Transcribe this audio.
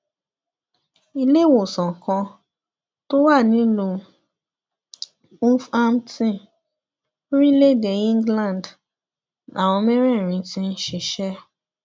iléèwòsàn kan tó wà nílùú hughhampton lórílẹèdè england làwọn mẹrẹẹrin ti ń ṣiṣẹ